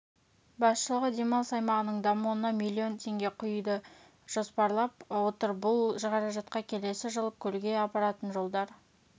басшылығы демалыс аймағының дамуына миллион теңге құюды жоспарлап отыр бұл қаражатқа келесі жылы көлге апаратын жолдар